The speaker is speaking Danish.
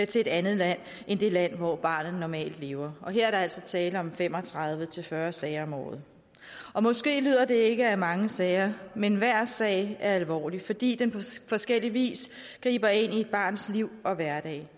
til at andet land end det land hvor barnet normalt lever her er der altså tale om fem og tredive til fyrre sager om året måske lyder det ikke af mange sager men hver sag er alvorlig fordi den på forskellig vis griber ind i barnets liv og hverdag